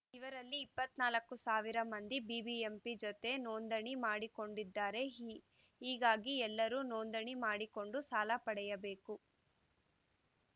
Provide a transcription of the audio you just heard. ಇವರಲ್ಲಿ ಇಪ್ಪತ್ತ್ ನಾಲ್ಕು ಸಾವಿರ ಮಂದಿ ಬಿಬಿಎಂಪಿ ಜತೆ ನೋಂದಣಿ ಮಾಡಿಕೊಂಡಿದ್ದಾರೆ ಹೀ ಹೀಗಾಗಿ ಎಲ್ಲರೂ ನೋಂದಣಿ ಮಾಡಿಕೊಂಡು ಸಾಲ ಪಡೆಯಬೇಕು